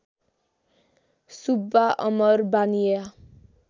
Subba Amar Baniya